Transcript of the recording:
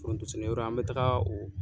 Foronto sɛnɛ yɔrɔ an be taga o